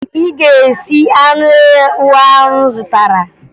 Ị ga-esi anụ ewu ahụ m zụtara!